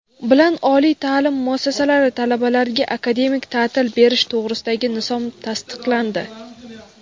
bilan Oliy taʼlim muassasalari talabalariga akademik taʼtil berish to‘g‘risidagi nizom tasdiqlandi.